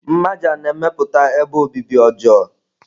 Mmaja na-emepụta ebe obibi ọjọọ.